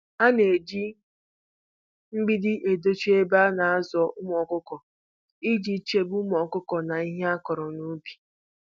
A na-eji mgbidi edochi ebe ana azụ ụmụ ọkụkọ iji chebe ụmụ ọkụkọ na ihe akụrụ n'ubi.